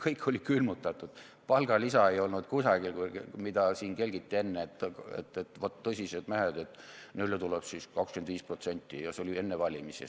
Kõik oli külmutatud, palgalisa ei olnud kusagil, mida siin kelgiti enne, et vaat, tõsised mehed, et neile tuleb siis 25% ja see oli enne valimisi.